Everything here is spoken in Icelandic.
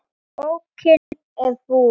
Bókin er búin.